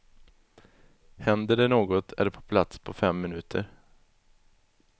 Händer det något är de på plats på fem minuter.